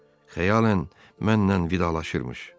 Xəyalən mənlə vidalaşırmış.